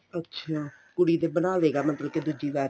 ਅੱਛਾ ਕੁੜੀ ਦੇ ਬਣਾਵੇਗਾ ਮਤਲਬ ਕੀ ਦੂਜੀ ਵਾਰ ਚ